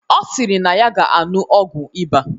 Ọ sịrị na ya ga aṅụ ọgwụ ịba